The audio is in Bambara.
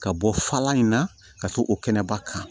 Ka bɔ falan in na ka to o kɛnɛba kan